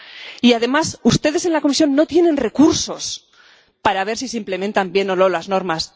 Y, además, ustedes en la Comisión no tienen recursos para ver si se implementan bien o no las normas.